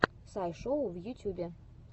сай шоу в ютьюбе